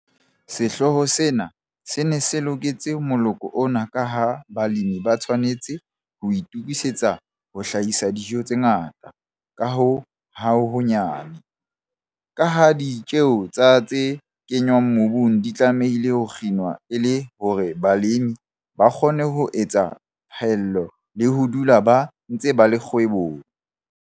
Sehlooho sena se ne se loketse moloko ona ka ha balemi ba tshwanetse ho itokisetsa ho hlahisa dijo tse ngata ka ho honyane, ka ha ditjeo tsa tse kenngwang mobung di tlamehile ho kginwa e le hore balemi ba kgone ho etsa phaello le ho dula ba ntse ba le kgwebong.